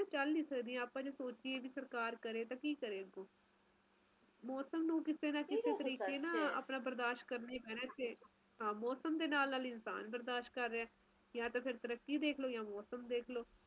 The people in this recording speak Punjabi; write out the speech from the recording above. ਆਪਣੇ ਖੁਦ ਦੇ ਦੇਸ਼ ਚ ਏਨੇ ਤਰਾਂ ਦੇ ਮੌਸਮ ਹੈ ਆਪਾ ਗਿਣਤੀ ਨਹੀਂ ਕਰ ਸਕਦੇ ਤੁਸੀਂ ਹੁਣ ਆਪਾ ਇਥੇ ਬੈਠੇ ਆ ਤੁਸੀਂ ਰੋਹਤਾਂਨ ਚਲੇ ਜਾਓ ਮਨਾਲੀ ਚਲੇ ਜਾਓ ਬਰਫ ਨਾਲ ਰਸਤੇ ਢਕੇ ਹੋਏ ਆ